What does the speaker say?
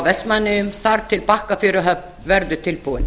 vestmannaeyjum þar til bakkafjöruhöfn verður tilbúin